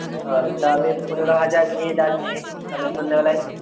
ও তাহলে পনেরো হাজার নিয়ে যাচ্ছি তাহলে সন্ধ্যেবেলায়।